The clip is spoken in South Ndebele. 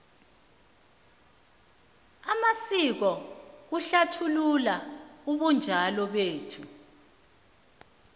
amasiko ahlathulula ubunjalo bethu